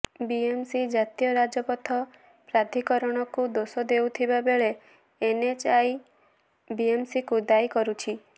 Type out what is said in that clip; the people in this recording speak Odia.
ବିଏମସି ଜାତୀୟ ରାଜପଥ ପ୍ରାଧିକରଣକୁ ଦୋଷ ଦେଉଥିବା ବେଳେ ଏନଏଚଏଆଇ ବିଏମସିକୁ ଦାୟୀ କରୁଛି